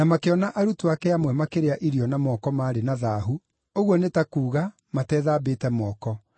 makĩona arutwo ake amwe makĩrĩa irio na moko maarĩ na thaahu, ũguo nĩ ta kuuga, matethambĩte moko.